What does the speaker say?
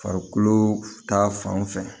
Farikolo ta fan fɛ